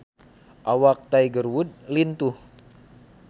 Awak Tiger Wood lintuh